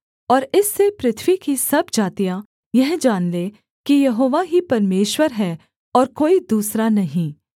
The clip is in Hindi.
और इससे पृथ्वी की सब जातियाँ यह जान लें कि यहोवा ही परमेश्वर है और कोई दूसरा नहीं